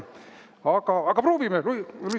Aga proovime, Luisa!